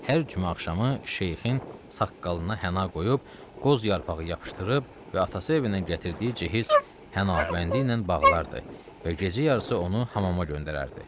Hər cümə axşamı şeyxin saqqalına həna qoyub, qoz yarpağı yapışdırıb və atası evindən gətirdiyi cehiz hənəbəndi ilə bağlardı və gecə yarısı onu hamama göndərirdi.